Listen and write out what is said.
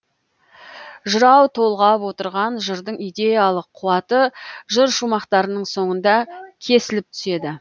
жырау толғап отырған жырдың идеялық қуаты жыр шумақтарының соңында кесіліп түседі